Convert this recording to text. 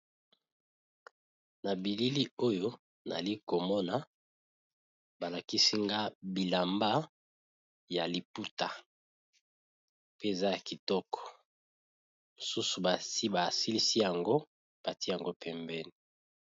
Na bilili oyo nali komona balakisi nga bilamba ya liputa, pe eza ya kitoko, mosusu basi basilisi yango pati yango pembeni.